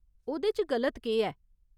ओह्‌दे च गलत केह् ऐ ?